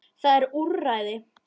Það eru til úrræði.